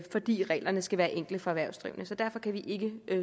fordi reglerne skal være enkle for erhvervsdrivende derfor kan vi ikke